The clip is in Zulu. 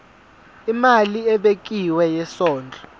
imali ebekiwe yesondlo